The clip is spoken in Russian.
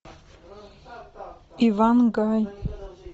ивангай